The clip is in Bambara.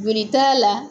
Joli t'a la